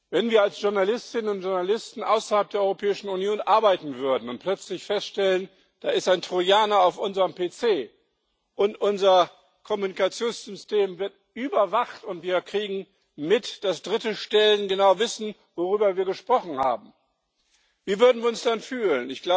Wenn wir als Journalistinnen und Journalisten außerhalb der Europäischen Union arbeiten würden und plötzlich feststellen, da ist ein Trojaner auf unserem PC, unser Kommunikationssystem wird überwacht und wir kriegen mit, dass dritte Stellen genau wissen, worüber wir gesprochen haben, wie würden wir uns dann fühlen?